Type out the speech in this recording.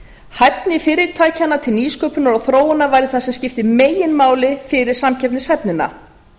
hæfni fyrirtækjanna til nýsköpunar og þróunar væri það sem skipti meginmáli fyrir samkeppnishæfnina